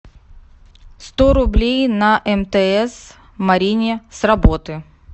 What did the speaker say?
сто рублей на мтс марине с работы